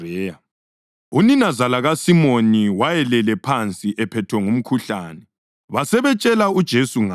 Uninazala kaSimoni wayelele phansi ephethwe ngumkhuhlane, basebetshela uJesu ngaye.